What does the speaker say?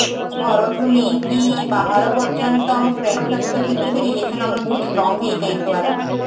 ଘରଠୁ ନେଇକି ବାହାର ପର୍ଯ୍ୟନ୍ତ ଆମ friend Circle ଭିତରେ ବି relation ଆମର ବହୁତ strong ହେଇଯାଏ ଦ୍ଵାରା